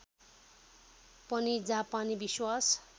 पनि जापानी विश्वास